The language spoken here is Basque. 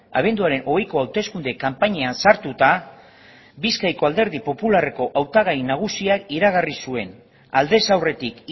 abenduaren hogeiko hauteskunde kanpainan sartuta bizkaiko alderdi popularreko hautagai nagusiak iragarri zuen aldez aurretik